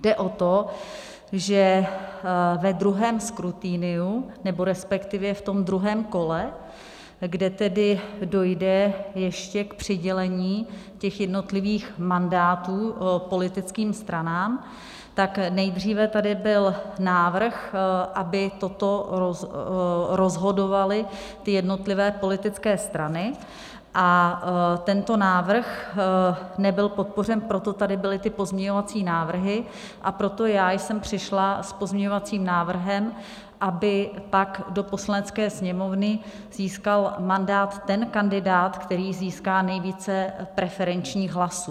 Jde o to, že ve druhém skrutiniu, nebo respektive v tom druhém kole, kde tedy dojde ještě k přidělení těch jednotlivých mandátů politickým stranám, tak nejdříve tady byl návrh, aby toto rozhodovaly ty jednotlivé politické strany, a tento návrh nebyl podpořen, proto tady byly ty pozměňovací návrhy a proto já jsem přišla s pozměňovacím návrhem, aby pak do Poslanecké sněmovny získal mandát ten kandidát, který získá nejvíce preferenčních hlasů.